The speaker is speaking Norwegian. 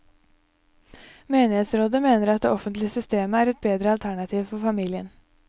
Menighetsrådet mener at det offentlige systemet er et bedre alternativ for familien.